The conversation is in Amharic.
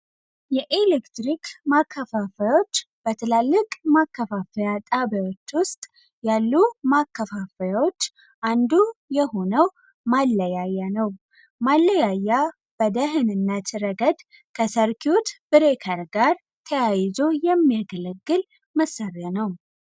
የኤሌክትሪክ ማከፋፈያዎች ትላልቅ ማከፋፈያ ጣቢያዎች ውሰጥ ያሉ ማከፋፈያዎች አንዱ የሆነው ማለያያ ነው ማለያያ በደህንነት እረገድ ከሰርኪውት ብሬከር ጋር ተያይዞ የሚያገለግል መሳሪያ ነው።